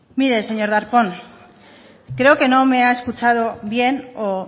mire señor darpón creo que no me ha escuchado bien o